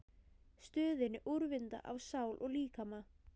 stöðinni, úrvinda á sál og líkama.